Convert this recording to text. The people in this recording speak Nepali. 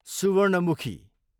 सुवर्णमुखी